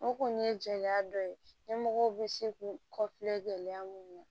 O kɔni ye jɛya dɔ ye ɲɛmɔgɔw bɛ se k'u kɔfilɛ gɛlɛya minnu na